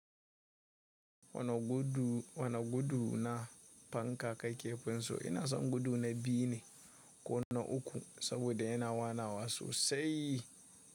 Wana gudu na fanka kake fin so ina san gudu na biyu ne ko na uku saboda yana wanawa sosai.